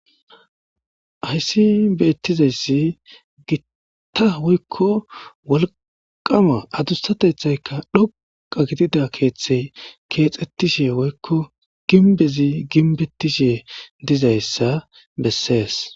Hayssi beettizayssi gitta woykko wolqama adussatethayka dhoqa gidida keeththey keexettishe woykko ginbezi ginbettishe dizayssa bessees